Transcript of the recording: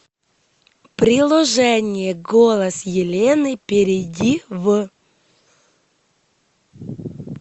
приложение голос елены перейди в